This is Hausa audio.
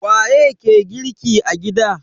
Waye ke girki a gida?